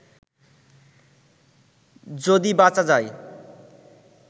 যদি বাঁচা যায়